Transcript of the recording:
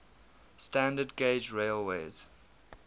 standard gauge railways